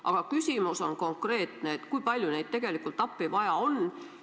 Aga küsimus on konkreetne: kui palju neid tegelikult appi vaja on?